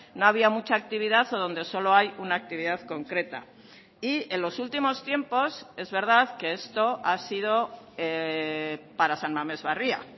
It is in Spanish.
no había mucha actividad o donde solo hay una actividad concreta y en los últimos tiempos es verdad que esto ha sido para san mamés barria